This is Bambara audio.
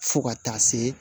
Fo ka taa se